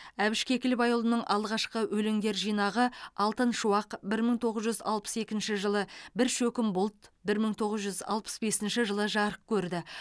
әбіш кекілбайұлының алғашқы өлеңдер жинағы алтын шуақ бір мың тоғыз жүз алпыс екінші жылы бір шөкім бұлт бір мың тоғыз жүз алпыс бесінші жылы жарық көрді